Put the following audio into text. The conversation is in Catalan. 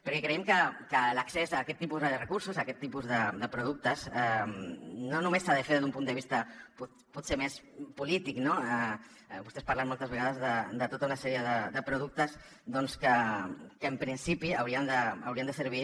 perquè creiem que l’accés a aquest tipus de recursos a aquest tipus de productes no només s’ha de fer des d’un punt de vista potser més polític no vostès parlen moltes vegades de tota una sèrie de productes que en principi haurien de servir